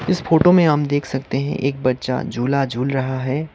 इस फोटो में हम देख सकते हैं एक बच्चा झूला झूल रहा है।